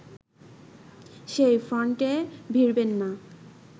সেই ফ্রন্টে ভিড়বেন না